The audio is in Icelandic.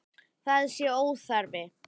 Það sé óþarfi.